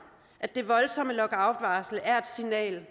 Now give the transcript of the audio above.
at det voldsomme lockoutvarsel er et signal